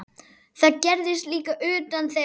Það gerðist líka utan þeirra.